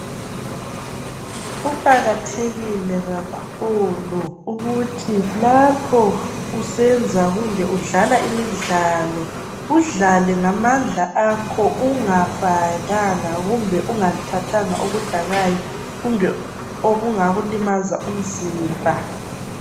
Kuqakathekile kakhulu ukuthi lapho usenza kumbe udlala imidlalo udlale ngamandla akho ungafakanga kumbe ungathathanga okudakayo kumbe okungakulimaza umzimba.